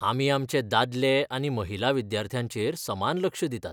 आमी आमचे दादले आनी महिला विद्यार्थ्यांचेर समान लक्ष दितात.